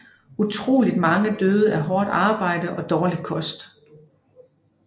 Utroligt mange døde af hårdt arbejde og dårlig kost